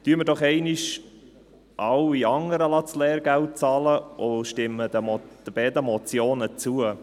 Lassen wir doch einmal alle anderen das Lehrgeld bezahlen und stimmen den beiden Motionen zu.